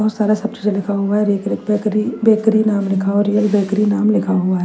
बहुत सारा शब्द से लिखा हुआ है बेकर बेकरी बेकरी नाम लिखा हुआ है रियल बेकरी नाम लिखा हुआ --